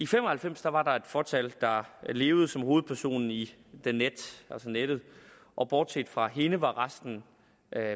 fem og halvfems var var der et fåtal der levede som hovedpersonen i the net altså nettet og bortset fra hende var resten